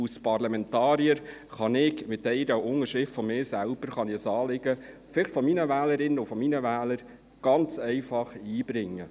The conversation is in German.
Als Parlamentarier kann ich mit einer Unterschrift, der meinen, die Sicht meiner Wählerinnen und Wähler ganz einfach einbringen.